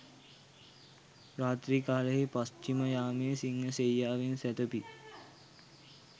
රාත්‍රී කාලයෙහි පශ්චිම යාමේ සිංහ සෙයියාවෙන් සැතපී